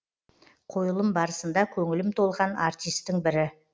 қойылым барысында көңілім толған артистің бірі